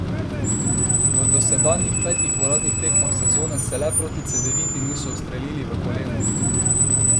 V dosedanjih petih uradnih tekmah sezone se le proti Cedeviti niso ustrelili v koleno.